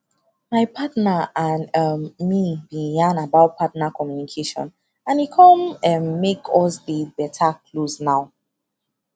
my partner and um me been yan about partner communication and e come um make us dey beta closed now